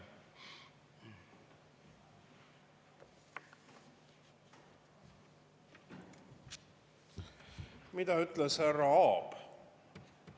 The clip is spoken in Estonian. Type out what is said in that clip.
Mida ütles härra Aab?